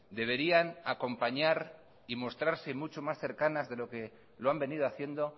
deberían acompañar y mostrarse mucho más cercanas de lo que lo han venido haciendo